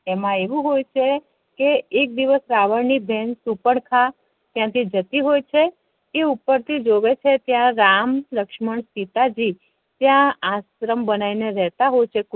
એમા એવુ હોય છે કે એક દિવસ રાવણ ની બેન સુર્પન્ખા ત્યા થી જતી હોય છે તે ઉપર થી જોવે છે ત્યા રામ લક્ષ્મણ અને સીતાજી ત્યા આશ્રમ બેનાવી ને રેહતા હોય છે